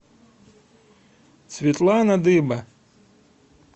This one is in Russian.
светлана дыба